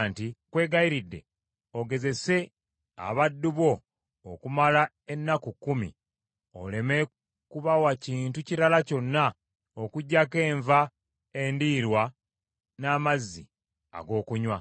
“Nkwegayiridde ogezese abaddu bo okumala ennaku kkumi, oleme kubawa kintu kirala kyonna okuggyako enva endiirwa n’amazzi ag’okunywa.